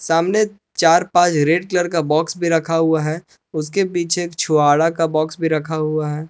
सामने चार पांच रेड कलर का बॉक्स भी रखा हुआ है उसके पीछे एक छुहारा का बॉक्स भी रखा हुआ है।